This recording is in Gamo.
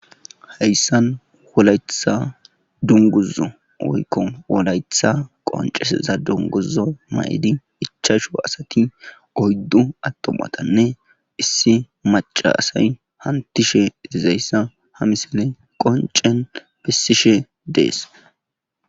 heyssan wolayetha dunguzu oykko wolayetha qonceseza dunguza ma7idi ichashu asati oyddu attomatanne issi macasay hantishe zayssa ha misile qoncen bessishe dees